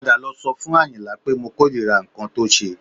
Padà lọ sọ fún Àyìnlá pé mo kórìíra nǹkan tó ṣe